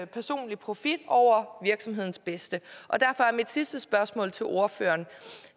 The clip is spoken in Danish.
personlig profit over virksomhedens bedste derfor er mit sidste spørgsmål til ordføreren